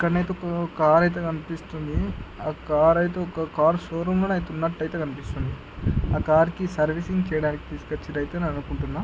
కన్ నాకు కార్ అయితే కనిపిస్తుంది అ కార్ ఐతే ఒక కారు షో రూమ్ ల ఉన్నట్టు కనిపిస్తుంది. అ కార్ కి సర్వీసింగ్ చేయడానికి తీసుకొచ్చినట్టున్నారు అని అనుకుంటున్న.